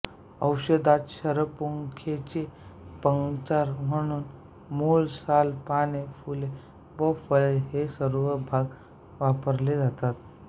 औषधात शरपुंखेचे पंचांग म्हणजे मूळ साल पाने फुले व फळे हे सर्व भाग वापरले जातात